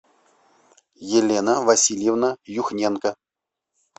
елена васильевна юхненко